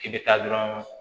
K'i bɛ taa dɔrɔn